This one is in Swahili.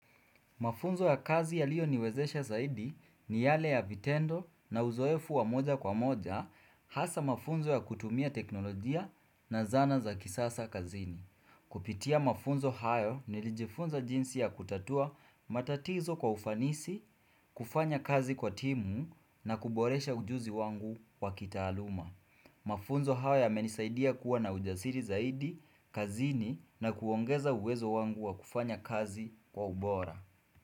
Mafunzo ya kazi yaliyo niwezesha zaidi ni yale ya vitendo na uzoefu wa moja kwa moja hasa mafunzo ya kutumia teknolojia na zana za kisasa kazini. Kupitia mafunzo hayo nilijifunza jinsi ya kutatua matatizo kwa ufanisi, kufanya kazi kwa timu na kuboresha ujuzi wangu wa kitaaluma. Mafunzo hayo yamenisaidia kuwa na ujasiri zaidi, kazini na kuongeza uwezo wangu wa kufanya kazi kwa ubora.